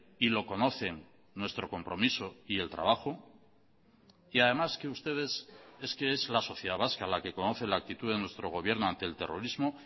y lo conocen nuestro compromiso y el trabajo y además que ustedes es que es la sociedad vasca la que conoce la actitud de nuestro gobierno ante el terrorismo